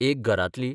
एक घरांतली.